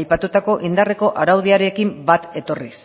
aipatutako indarreko araudiarekin bat etorriz